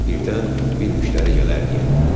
Birdən bir müştəri gələr deyə.